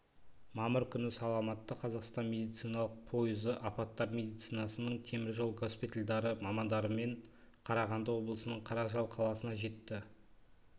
мамыр күні саламатты қазақстан медициналық пойызы апаттар медицинасының теміржол госпитальдары мамандарымен қарағанды облысының қаражал қаласына жетті